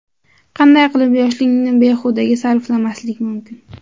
Qanday qilib yoshlikni behudaga sarflamaslik mumkin?.